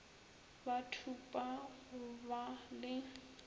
ba thupa go ba le